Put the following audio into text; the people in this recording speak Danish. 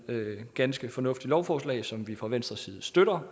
et ganske fornuftigt lovforslag som vi fra venstres side støtter